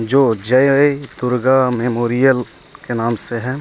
जो जय दुर्गा मेमोरियल के नाम से है।